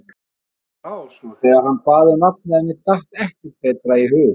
Mér brá svo þegar hann bað um nafnið, að mér datt ekkert betra í hug.